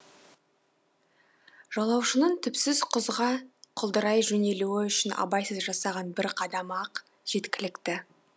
жолаушының түпсіз құзға құлдырай жөнелуі үшін абайсыз жасаған бір қадамы ақ жеткілікті